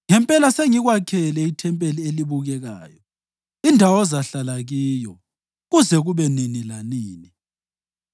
ngempela sengikwakhele ithempeli elibukekayo, indawo ozahlala kiyo kuze kube nini lanini.”